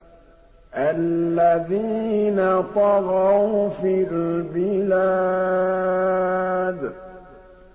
الَّذِينَ طَغَوْا فِي الْبِلَادِ